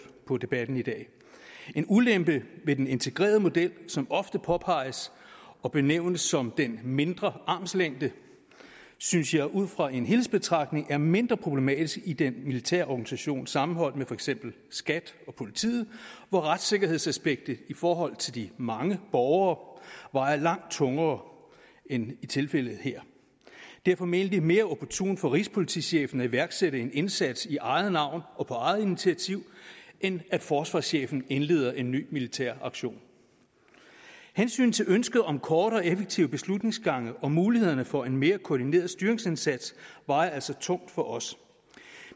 på debatten i dag en ulempe ved den integrerede model som ofte påpeges og benævnes som den mindre armslængde synes jeg ud fra en helhedsbetragtning er mindre problematisk i den militære organisation sammenholdt med for eksempel skat og politiet hvor retssikkerhedsaspektet i forhold til de mange borgere vejer langt tungere end i tilfældet her det er formentlig mere opportunt for rigspolitichefen at iværksætte en indsats i eget navn og på eget initiativ end at forsvarschefen indleder en ny militær aktion hensynet til ønsket om korte og effektive beslutningsgange og mulighederne for en mere koordineret styringsindsats vejer altså tungt for os